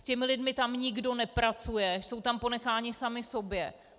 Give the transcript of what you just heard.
S těmi lidmi tam nikdo nepracuje, jsou tam ponecháni sami sobě.